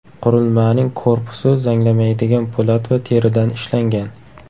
Qurilmaning korpusi zanglamaydigan po‘lat va teridan ishlangan.